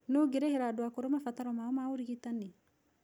Nũũ ũgĩrĩhĩra andũ akũrũ mabataro mao ma ũrigitani?